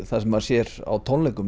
það sem maður sér á tónleikum